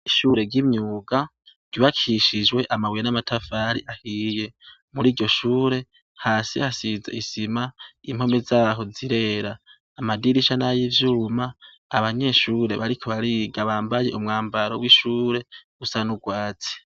Ishure ry'imyuga ryubakishijwe amabuye n'amatafari ahiye. Muri iryo shure hasi hasize isima ,impome zaho zirera ,amadirisha nayo y'ivyuma , abanyeshure bariko bariga bambaye umwambaro w'ishure usa n'urwatsi.